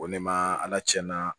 Ko ne ma ala tiɲɛ na